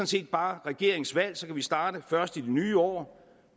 set bare regeringens valg så kan vi starte først i det nye år